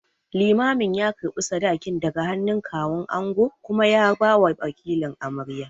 Limamin ya karɓi sadakin daga hannun Kawun angon kuma ya bawa wakilin amaryar.